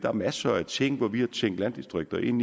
er masser af ting hvor vi har tænkt landdistrikter ind